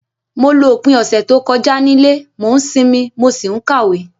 Mo lo opín ọ̀sẹ̀ to kojá nílé, mo n sinmí, mo si n kàwé